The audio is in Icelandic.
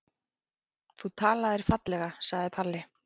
Þú talaðir fallega, sagði Palli.